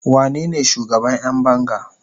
wanene shugaban Yan banga?